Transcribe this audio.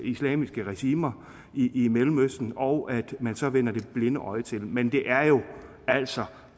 islamiske regimer i mellemøsten og at man så vender det blinde øje til men det er jo altså